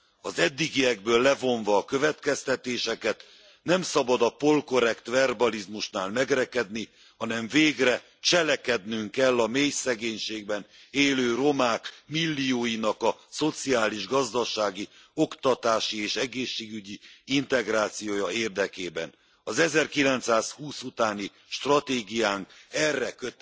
Az eddigiekből levonva a következtetéseket, nem szabad a polkorrekt verbalizmusnál megrekedni, hanem végre cselekednünk kell a mélyszegénységben élő romák millióinak a szociális, gazdasági, oktatási és egészségügyi integrációja érdekében! Az 1920 utáni stratégiánk erre kötelez bennünket.